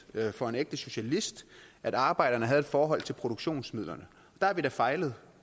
for en ægte socialist at arbejderne havde et forhold til produktionsmidlerne der har vi da fejlet